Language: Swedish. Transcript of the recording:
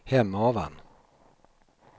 Hemavan